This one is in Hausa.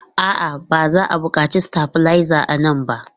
A'a, ba za a buƙaci stabilizer a nan ba.